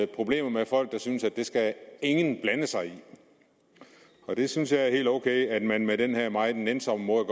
problemer med folk der synes at det skal ingen blande sig i der synes jeg at det er helt ok at man med den her meget nænsomme måde